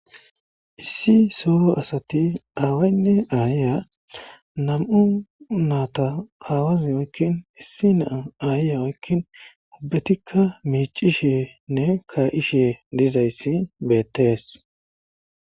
issi soo asati aawaynne aayiya nam7u naata aawazi wakkin issi naa ayiyawakkin ubbetikka miicishenne ka7ishe dizayssi beettees